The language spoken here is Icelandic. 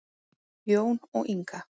Jón og Inga.